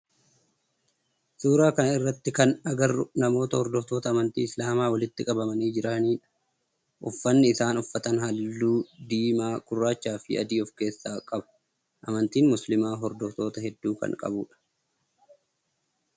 Suuraa kana irratti kan agarru namoota hordoftoota amantii islaamaa walitti qabamanii jirani dha. Uffanni isaan uffatan halluu diimaa, gurraachaa fi adii of keessaa qaba. Amantiin muslimaa horoftoota heddu kan qabudha.